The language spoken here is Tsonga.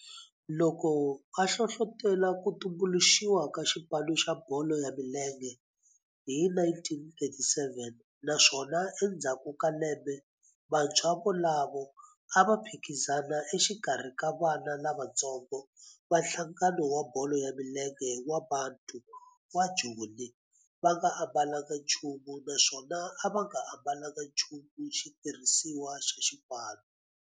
Loko a hlohlotela ku tumbuluxiwa ka xipano xa bolo ya milenge hi 1937 naswona endzhaku ka lembe vantshwa volavo a va phikizana exikarhi ka vana lavatsongo va nhlangano wa bolo ya milenge wa Bantu wa Joni va nga ambalanga nchumu naswona va nga ambalanga nchumu xitirhisiwa xa xipano.